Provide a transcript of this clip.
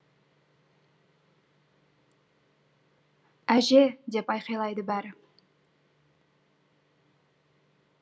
әже деп айқайлайды бәрі